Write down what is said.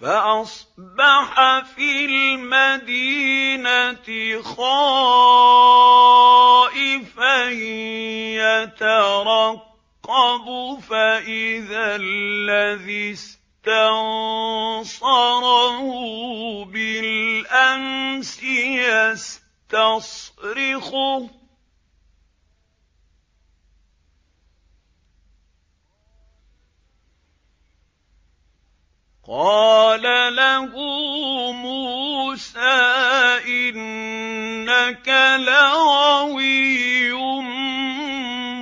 فَأَصْبَحَ فِي الْمَدِينَةِ خَائِفًا يَتَرَقَّبُ فَإِذَا الَّذِي اسْتَنصَرَهُ بِالْأَمْسِ يَسْتَصْرِخُهُ ۚ قَالَ لَهُ مُوسَىٰ إِنَّكَ لَغَوِيٌّ